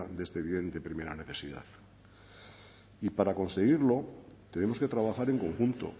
de este bien de primera necesidad y para conseguirlo tenemos que trabajar en conjunto